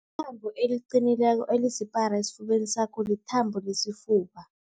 Ithambo eliqinileko elisipara esifubeni sakho lithambo lesifuba.